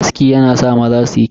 Aski yana sa maza suyi kyau.